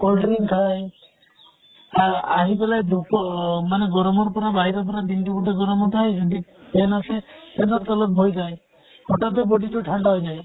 cold drink খায় আহ আহি ফালে ধুপৰ মানে গৰমৰ বাহিৰৰ পৰা দিন টো গোতেই গৰমত আহে সিহঁতে fan আছে, fan ৰ তলত বহি যায়। হথাৎতে body টো ঠান্দা হৈ যায়।